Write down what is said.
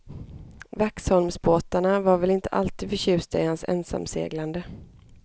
Waxholmsbåtarna var väl inte alltid förtjusta i hans ensamseglande.